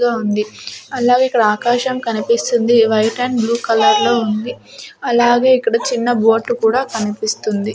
గా ఉంది అలాగే ఇక్కడ ఆకాశం కనిపిస్తుంది వైట్ అండ్ బ్లూ కలర్ లో ఉంది అలాగే ఇక్కడ చిన్న బోట్ లు కూడా కనిపిస్తుంది.